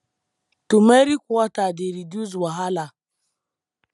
turmeric water dey reduce wahala